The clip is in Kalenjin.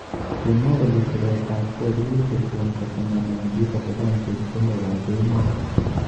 Kimwa kole siret ab kei kokikon kotemene bik kolipan chepkondok ab emet.